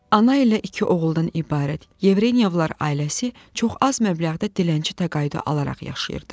Ana ilə iki oğuldan ibarət yevrənyovlar ailəsi çox az məbləğdə dilənçi təqaüdü alaraq yaşayırdı.